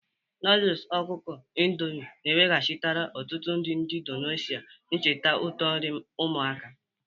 Noodles ọkụkọ Indomie na-eweghachitere ọtụtụ ndị Indonesia ncheta ụtọ nri ụmụaka.